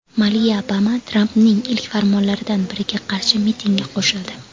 Maliya Obama Trampning ilk farmonlaridan biriga qarshi mitingga qo‘shildi.